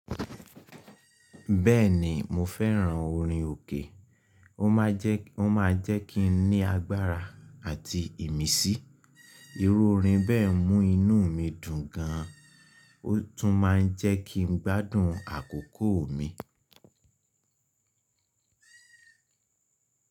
Bẹ́ẹ̀ni mo fẹ́ran orin òkè, o ma je, ó máa ń jẹ́ kí n ní agbára àti ìmísí. Irú orin bẹ́ẹ̀ mú inú mi dùn gan an, ó tún máa ń jẹ́ kí n gbádùn àkókò mi.